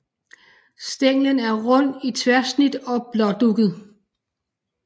Stænglen er rund i tværsnit og blådugget